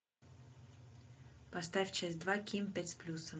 поставь часть два ким пять с плюсом